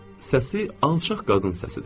Səsi alçaq qadın səsidir.